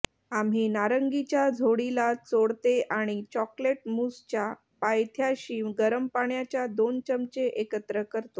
आम्ही नारंगीच्या झोडीला चोळते आणि चॉकलेट मूसच्या पायथ्याशी गरम पाण्याच्या दोन चमचे एकत्र करतो